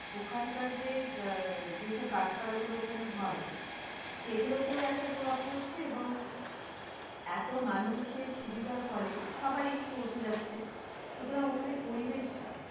ওখানকার যে আহ যেসব গাছপালাগুলো ওখানে হয়, সেগুলোতে একটা প্রভাব পড়ছে এবং এত মানুষের সুবিধার ফলেসবাই পৌঁছে যাচ্ছে, সুতারাং ওখানে পরিবেশটা